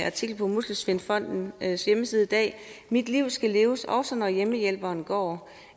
artikel på muskelsvindfondens hjemmeside i dag mit liv skal leves også når hjemmehjælperen går